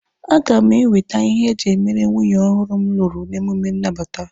A ga m ewete ihe eji e mere nwunye ọhụrụ m lụrụ emume nnabata.